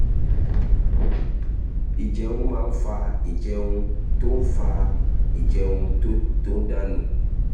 ìjẹun máa ń fa ìjẹun tó ń fa ń fa ìjẹun tó ń dà nù